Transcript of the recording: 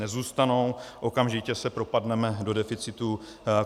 Nezůstanou, okamžitě se propadneme do deficitu.